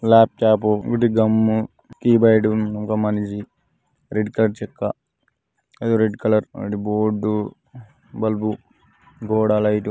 laptop ఇటు గమ్ము keyboard ఒక మనిషి రెడ్ కలర్ చెక్క రెడ్ కలర్ బోర్డు బల్బు గోడ లైట్